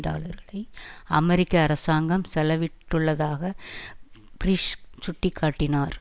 டாலர்களை அமெரிக்க அரசாங்கம் செலவிட்டுள்ளதாக பீரிஸ் சுட்டி காட்டினார்